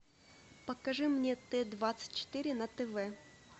покажи мне т двадцать четыре на тв